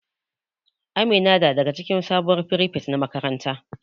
Amina da daga cikin sabuwar firifet na makaranta.